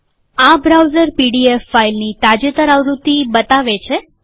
આ browser PDF ફાઈલની તાજેતર આવૃત્તિ બતાવે છે